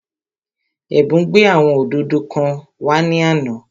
Ẹ̀bùn gbé àwọn òdòdó kan wá ní àná